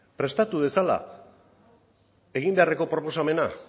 prestatu dezala egin beharreko proposamena